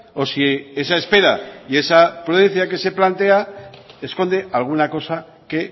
o si esa espera y esa prudencia que se plantea esconde alguna cosa que